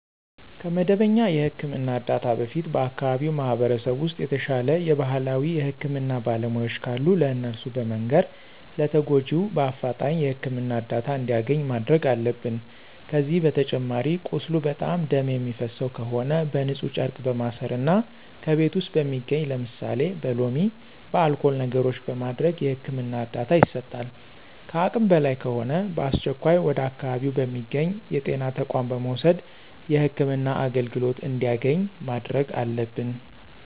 ከመደበኛ የህክምና እርዳታ በፊት በአከባቢው ማህበረሰብ ውስጥ የተሻለ የባህላዊ የህክምና ባለሙያዎች ካሉ ለእነሱ በመንገር ለተጎጁ በአፍጣኝ የህክምና እርዳታ እንዲያገኝ ማድረግ አለብን። ከዚህ በተጨማሪ ቁስሉ በጣም ደም የሚፈሰው ከሆነ በንፁህ ጨርቅ በማሰር እና ከቤት ውስጥ በሚገኙ ለምሳሌ በሎሚ፣ በአልኮል ነገሮችን በማድረግ የህክምና እርዳታ ይሰጣል። ከአቅም በላይ ከሆነ በአስቸኳይ ወደ አካባቢው በሚገኙ የጤና ተቋማት በመውሰድ የህክምና አገልግሎት እንዲያገኝ ማድረግ አለብን።